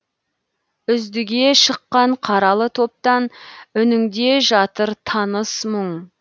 үздіге шыққан қаралы топтан үніңде жатыр таныс мұң